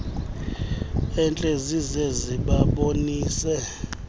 entle zize zibabonise